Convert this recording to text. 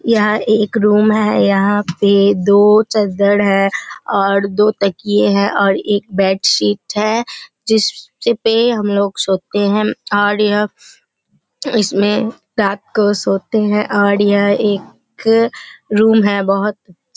यहाँ एक रूम है यहाँ पे दो चदर है और दो तकिये है और एक बेडशीट है जिसपे हमलोग सोते है और यह इसमें रात को सोते है और यह एक रूम है बोहोत --